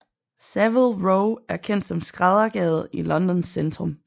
Savile Row er kendt som skræddergade i Londons centrum